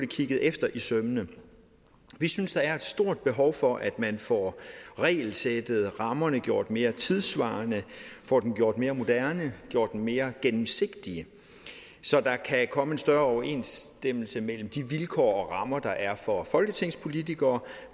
kigget efter i sømmene vi synes der er et stort behov for at man får regelsættet rammerne gjort mere tidssvarende får dem gjort mere moderne gjort dem mere gennemsigtige så der kan komme en større overensstemmelse mellem de vilkår og rammer der er for folketingspolitikere